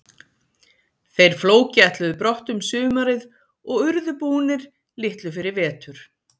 Þeir Flóki ætluðu brott um sumarið og urðu búnir litlu fyrir vetur.